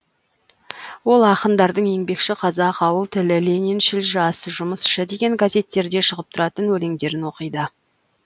ол ақындардың еңбекші қазақ ауыл тілі лениншіл жас жұмысшы деген газеттерде шығып тұратын өлеңдерін оқиды